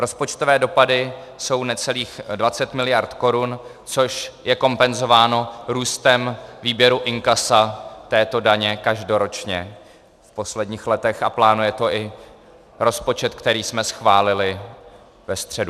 Rozpočtové dopady jsou necelých 20 miliard korun, což je kompenzováno růstem výběru inkasa této daně každoročně v posledních letech, a plánuje to i rozpočet, který jsme schválili ve středu.